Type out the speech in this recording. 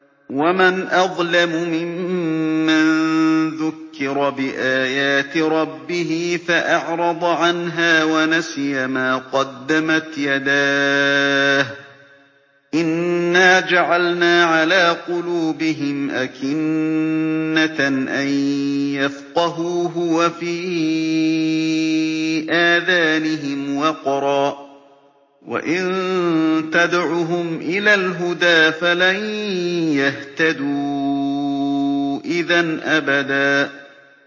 وَمَنْ أَظْلَمُ مِمَّن ذُكِّرَ بِآيَاتِ رَبِّهِ فَأَعْرَضَ عَنْهَا وَنَسِيَ مَا قَدَّمَتْ يَدَاهُ ۚ إِنَّا جَعَلْنَا عَلَىٰ قُلُوبِهِمْ أَكِنَّةً أَن يَفْقَهُوهُ وَفِي آذَانِهِمْ وَقْرًا ۖ وَإِن تَدْعُهُمْ إِلَى الْهُدَىٰ فَلَن يَهْتَدُوا إِذًا أَبَدًا